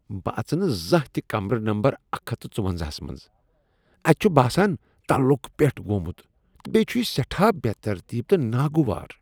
بہٕ اژٕ نہٕ زانٛہہ تہ کمرٕ نمبر اکھ ہتھ ژۄونزاہَس منٛز، اتہ چھ باسان تَلکُ پیٹھ گوٚمت تہٕ بیٚیہ چھ یہ سیٹھاہ بے ترتیب تہ ناگوار